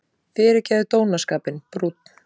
Fyrirgefðu dónaskapinn: brúnn.